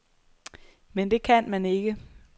Men det kan man ikke.